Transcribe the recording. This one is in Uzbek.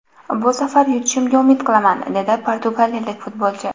Bu safar yutishimga umid qilaman”, – dedi portugaliyalik futbolchi.